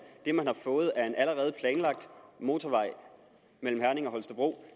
det man har fået er en allerede planlagt motorvej mellem herning og holstebro